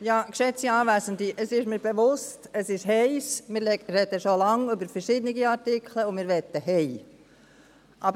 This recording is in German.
Es ist mir bewusst, dass es heiss ist, dass wir schon lange über verschiedene Artikel sprechen und dass wir nach Hause gehen möchten.